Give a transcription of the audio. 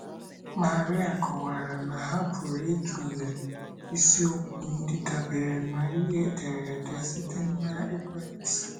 Maria kọwara na ha pụrụ ịtụle isiokwu ndị dabeere na ihe ederede site na ekwentị